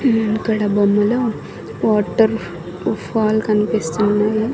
ఉమ్ ఇక్కడ బొమ్మలో waterfall కన్పిస్తున్నాయి.